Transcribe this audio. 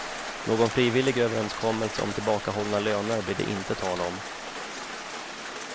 Någon frivillig överenskommelse om tillbakahållna löner blir det inte tal om.